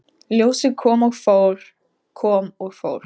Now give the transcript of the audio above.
Ljósið kom og fór, kom og fór.